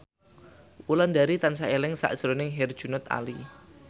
Wulandari tansah eling sakjroning Herjunot Ali